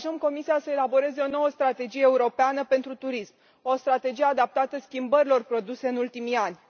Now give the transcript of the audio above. încurajăm Comisia să elaboreze o nouă strategie europeană pentru turism, o strategie adaptată schimbărilor produse în ultimii ani